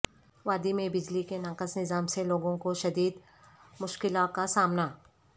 وادی میں بجلی کے ناقص نظام سے لوگوں کو شدید مشکلا کا سامنا